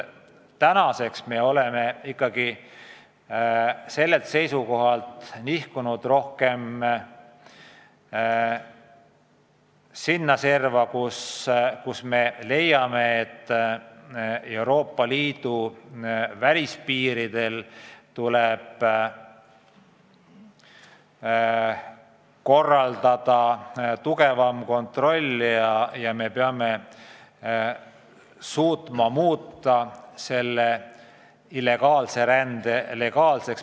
Tänaseks ollakse sellelt seisukohalt nihkunud arvamuse poole, et Euroopa Liidu välispiiridel tuleb korraldada tugevam kontroll ja me peame muutma illegaalse rände legaalseks.